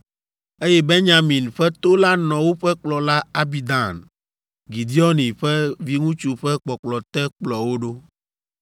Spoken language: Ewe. eye Benyamin ƒe to la nɔ woƒe kplɔla Abidan, Gideoni ƒe viŋutsu ƒe kpɔkplɔ te kplɔ wo ɖo.